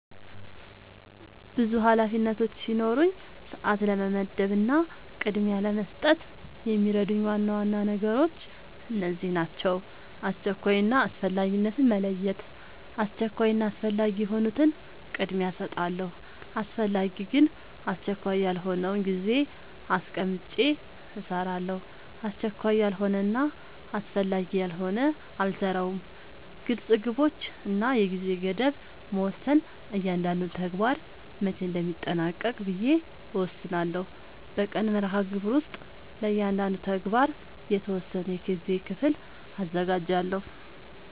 ብዙ ኃላፊነቶች ሲኖሩኝ ሰዓት ለመመደብ እና ቅድሚያ ለመስጠት የሚረዱኝ ዋና ዋና ነገሮች እነዚህ ናቸው :-# አስቸኳይ እና አስፈላጊነትን መለየት:- አስቸኳይ እና አስፈላጊ የሆኑትን ቅድሚያ እሰጣለሁ አስፈላጊ ግን አስቸካይ ያልሆነውን ጊዜ አስቀምጨ እሰራለሁ አስቸካይ ያልሆነና አስፈላጊ ያልሆነ አልሰራውም # ግልፅ ግቦች እና የጊዜ ገደብ መወሰን እያንዳንዱን ተግባር መቼ እንደሚጠናቀቅ ብዬ እወስናለሁ በቀን መርሃግብር ውስጥ ለእያንዳንዱ ተግባር የተወሰነ የጊዜ ክፍል አዘጋጃለሁ